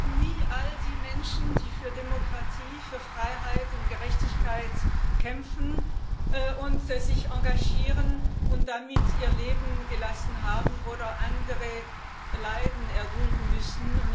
Wir werden nie all die Menschen vergessen, die für Demokratie, Freiheit und Gerechtigkeit kämpfen und sich engagieren und dabei ihr Leben gelassen haben oder andere Leiden erdulden müssen.